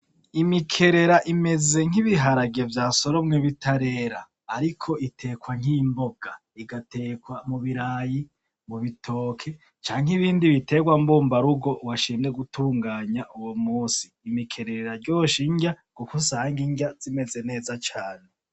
Imikerera imeze nk'ibiharage vyasoromwe bitarera ariko itekwa nk'imboga igatekwa m'ubirayi m'ubitoki canke ibindi bindi biterwa mbumbarugo w'ashimye gutunganya uwo munsi, Imikerera iraryosha irya aho usannga irya zimeze neza cane.